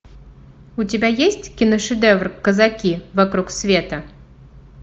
у тебя есть киношедевр казаки вокруг света